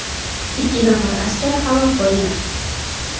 Ikki nafar askar halok bo‘lgan.